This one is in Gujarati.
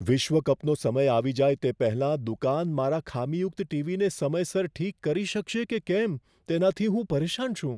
વિશ્વ કપનો સમય આવી જાય તે પહેલાં દુકાન મારા ખામીયુક્ત ટીવીને સમયસર ઠીક કરી શકશે કે કેમ, તેનાથી હું પરેશાન છું.